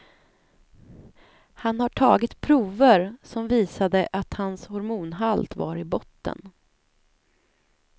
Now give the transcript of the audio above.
Han har tagit prover, som visade att hans hormonhalt var i botten.